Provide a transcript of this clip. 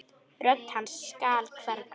Rödd hans skal hverfa.